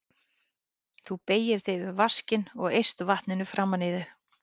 Þú beygir þig yfir vaskinn og eyst vatninu framan í þig.